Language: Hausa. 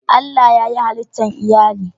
Allah na yayi hallitan Iyalli